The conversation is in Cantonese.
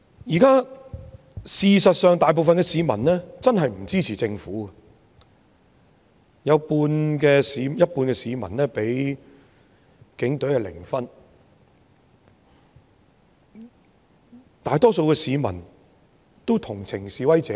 事實上，現在大部分市民的確不支持政府，有半數市民給警隊的評分是零，大多數市民都同情示威者。